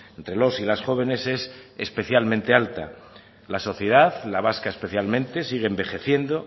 entre los y las jóvenes es especialmente alta la sociedad la vasca especialmente sigue envejeciendo